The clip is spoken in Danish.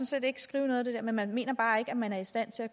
set ikke skrive noget af det dér men man mener bare ikke at man er i stand til